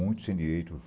Muitos sem direito.